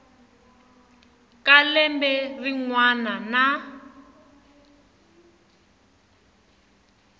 ka lembe rin wana na